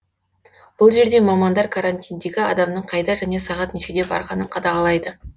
бұл жерде мамандар карантиндегі адамның қайда және сағат нешеде барғанын қадағалайды